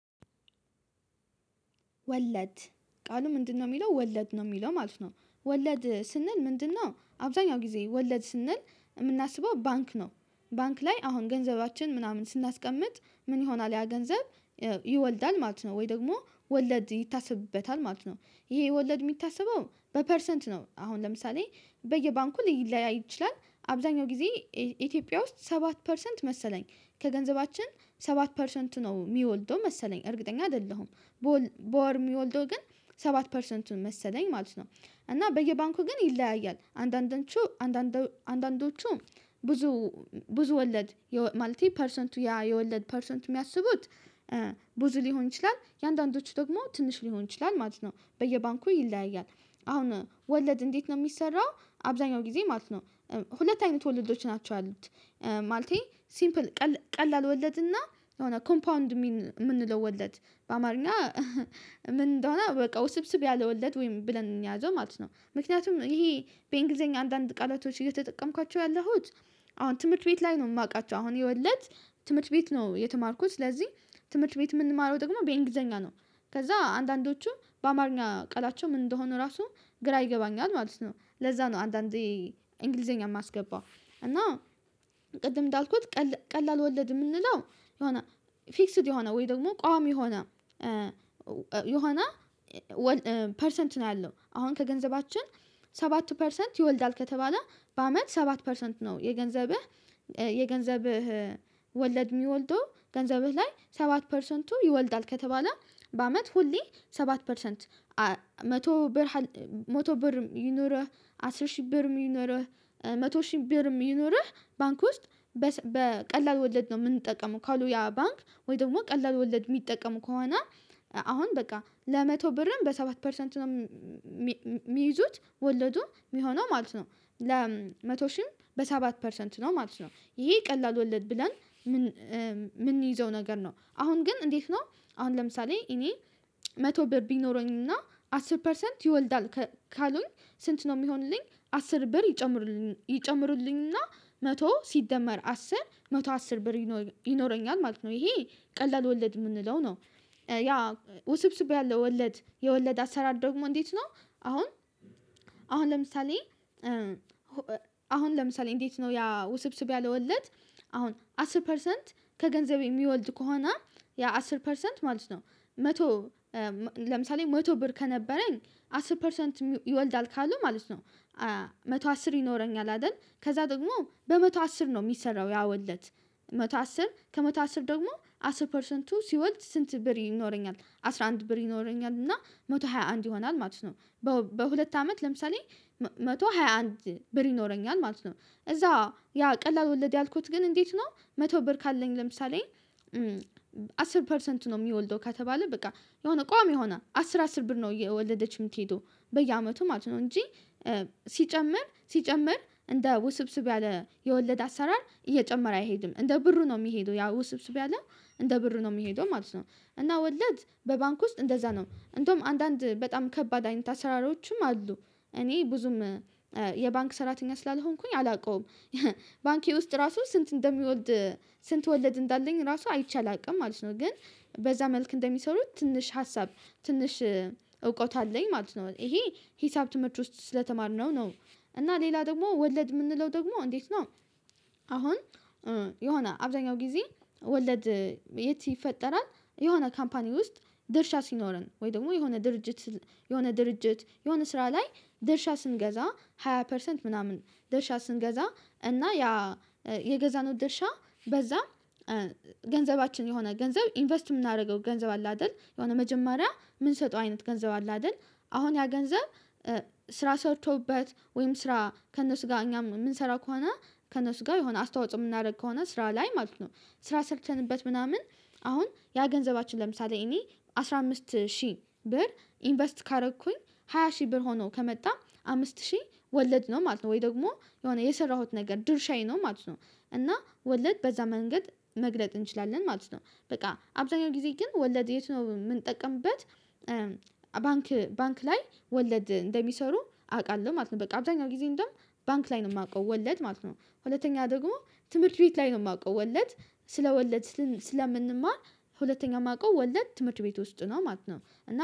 ወለድ ቃሉ ምንድነው የሚለው ወለድ ነው የሚለው ማለት ነው። ወለድ ስንል ምንድነው? አብዛኛው ጊዜ ወለድ ስንል የምናስበው ባንክ ነው። ባንክ ላይ አሁን ገንዘባችን ምናምን ስናስቀምጥ ምን? ይሆናል ያ ገንዘብ ይወልዳል ማለት ነው ወይ ደግሞ ወለድ ይታሰብበታል ማለት ነው። ይሄ ወለድ የሚታሰበው በፐርሰንት ነው አሁን ለምሳሌ በየባንኩ ሊለያይ ይችላል። አብዛኛው ጊዜ ኢትዮጵያ ውስጥ ሰባት ፐርሰንት መሰለኝ ከገንዘባችን ሰባት ፐርሰንት ነው የሚወልደው መሰለኝ እርግጠኛ አይደለሁም። በወር የሚወልደው ግን ሰባት ፐርሰንቱን መሰለኝ ማለት ነው። እና በየባንኩ ግን ይለያያል አንዳንዶቹ አንዳንዶቹ ብዙ ብዙ ወለድ ማለት ፐርሰንቱ ያ የወለድ ፐርሰንት የሚያስቡት። ብዙ ሊሆን ይችላል የአንዳንዶቹ ደግሞ ትንሽ ሊሆን ይችላል ማለት ነው በየባንኩ ይለያያል። አሁን ወለድ እንዴት ነው የሚሰራው? አብዛኛው ጊዜ ማለት ነው። ሁለት አይነት ወልዶች ናቸው ያሉት። ማለቴ ሲምፕል ቀላል ወለድ እና የሆነ ኮምፓውንድ የምንለው ወለድ በአማርኛ ምን እንደሆነ በቃ ውስብስብ ያለ ወለድ ወይም ብለን እንያዘው ማለት ነው። ምክንያቱም ይሄ በእንግሊዘኛ አንዳንድ ቃላቶች እየተጠቀምኳቸው ያለሁት። አሁን ትምህርት ቤት ላይ ነው የማውቃቸው አሁን የወለድ ትምህርት ቤት ነው የተማርኩት። ስለዚህ ትምህርት ቤት የምንማረው ደግሞ በእንግሊዘኛ ነው። ከዛ አንዳንዶቹ በአማርኛ ቀላቸው ምን እንደሆኑ ራሱ ግራ ይገባኛል ማለት ነው። ለዛ ነው አንዳንዴ እንግሊዘኛ የማስገባው። እና ቅድም እንዳልኩት ቀላል ወለድ የምንለው የሆነ ፊክስድ የሆነ ወይ ደግሞ ቋሚ የሆነ የሆነ ፐርሰንት ነው። ያለው አሁን ከገንዘባችን ሰባት ፐርሰንት ይወልዳል ከተባለ በአመት ሰባት ፐርሰንት ነው የገንዘብህ። የገንዘብህ ወለድ የሚወልደው ገንዘብህ ላይ ሰባት ፐርሰንቱ ይወልዳል ከተባለ በአመት ሁሌ ሰባት ፐርሰንት። መቶ ብር መቶ ብርም ይኑርህ አስር ሺህ ብርም ይኑርህ መቶ ሺህ ብርም ይኑርህ ባንክ ውስጥ። በቀላል ወለድ ነው የምንጠቀመው ካሉ ያ ባንክ ወይ ደግሞ ቀላል ወለድ የሚጠቀሙ ከሆነ አሁን በቃ ለመቶ ብርም በሰባት ፐርሰንት ነው የሚይዙት ወለዱ የሚሆነው ማለት ነው። ለመቶ ሺህም በሰባት ፐርሰንት ነው ማለት ነው። ይሄ ቀላል ወለድ ብለን የምንይዘው ነገር ነው። አሁን ግን እንዴት ነው? አሁን ለምሳሌ እኔ መቶ ብር ቢኖረኝና አስር ፐርሰንት ይወልዳል ካሉኝ። ስንት ነው የሚሆንልኝ? አስር ብር ይጨምሩልኝ ይጨምሩልኝና መቶ ሲጀመር አስር መቶ አስር ብር ይኖረኛል ማለት ነው። ይሄ ቀላል ወለድ የምንለው ነው። ያ ውስብስብ ያለው ወለድ የወለድ አሰራር ዶግሞ እንዴት ነው? አሁን አሁን ለምሳሌ አሁን ለምሳሌ እንዴት ነው ያ ውስብስብ ያለ ወለድ። አሁን አስር ፐርሰንት ከገንዘቤ የሚወልድ ከሆነ ያ አስር ፐርሰንት ማለት ነው። መቶ ለምሳሌ መቶ ብር ከነበረኝ አስር ፐርሰንት ይወልዳል ካሉ ማለት ነው። መቶ አስር ይኖረኛል አይደል? ከዛ ደግሞ በመቶ አስር ነው የሚሰራው ያወለድ መቶ አስር ከ ከመተቶ አስረ ደግሞ አስር ፐርሰንቱ ሲወልድ ስንት ብር ይኖረኛል አስራ አንድ ብር ይኖረኛል እና መቶ ሃያ አንድ ይሆናል ማለት ነው። በሁለት አመት ለምሳሌ መቶ ሃያ አንድ ብር ይኖረኛል ማለት ነው። እዛ ያ ቀላል ወለድ ያልኩት ግን እንዴት ነው? መቶ ብር ካለኝ ለምሳሌ አስር ፐርሰንት ነው የሚወልደው ከተባለ በቃ የሆነ ቋሚ ሆና አስር አስር ብር ነው እየወለደች የምትሄደው። በየአመቱ ማለት ነው። እንጂ ሲጨምር ሲጨምር እንደ ውስብስብ ያለ የወለድ አሰራር እየጨመረ አይሄድም እንደ ብሩ ነው የሚሄደው ያ ውስብስብ ያለው እንደ ብሩ ነው የሚሄደው ማለት ነው። እና ወለድ በባንክ ውስጥ እንደዛ ነው እንደውም አንዳንድ በጣም ከባድ አይነት አሰራሮችም አሉ። እኔ ብዙም የባንክ ሰራተኛ ስላልሆንኩኝ አላውቀውም። ባንኬ ውስጥ ራሱ ስንት እንደሚወልድ? ስንት ወለድ እንዳለኝ ራሱ አይቼ አላውቅም ማለት ነው። ግን በዛ መልክ እንደሚሰሩት ትንሽ ሀሳብ ትንሽ እውቀት አለኝ ማለት ነው። ይሄ ሂሳብ ትምህርት ውስጥ ስለተማርነው ነው። እና ሌላ ደግሞ ወለድ የምንለው ደግሞ እንዴት ነው? አሁን የሆነ አብዛኛው ጊዜ ወለድ የት ይፈጠራል? የሆነ ካምፓኒ ውስጥ ድርሻ ሲኖረን ወይ ደግሞ የሆነ ድርጅት የሆነ ድርጅት የሆነ ስራ ላይ ደርሻ ስንገዛ ሃያ ፐርሰንት ምናምን ደርሻ ስንገዛ እና ያ የገዛነው ድርሻ በዛ ገንዘባችን የሆነ ገንዘብ ኢንቨስት የምናደርገው ገንዘብ አለ አይደል የሆነ መጀመሪያ የምንሰጠው አይነት ገንዘብ አለ አይደል? አሁን ያ ገንዘብ ስራ ሰርቶበት ወይም ስራ ከእነሱ ጋር እኛም የምንሰራ ከሆነ ከእነሱ ጋር የሆነ አስተዋጽኦ የምናደርግ ከሆነ ስራ ላይ ማለት ነው። ስራ ሰርተንበት ምናምን አሁን ያገንዘባችን ለምሳሌ እኔ አስራ አምስት ሺህ ብር ኢንቨስት ካደረኩኝ ሃያ ሺህ ብር ሆኖ ከመጣ አምስት ሺህ ወለድነው ማለት ነው። ወይ ደግሞ የሆነ የሰራሁት ነገር ድርሻዬ ነው ማለት ነው። እና ወለድ በዛ መንገድ መግለጥ እንችላለን ማለት ነው። በቃ አብዛኛው ጊዜ ግን ወለድ የት ነው የምንጠቀምበት? ባንክ ባንክ ላይ ወለድ እንደሚሰሩ አውቃለሁ ማለት ነው። በቃ አብዛኛው ጊዜ እንደውም ባንክ ላይ ነው የማውቀው ወለድ ማለት ነው። ሁለተኛ ደግሞ ትምህርት ቤት ላይ ነው የማውቀው ወለድ። ስለ ወለድ ስለምንማር ሁለተኛ የማውቀው ወለድ ትምህርት ቤት ውስጥ ነው ማለት ነው።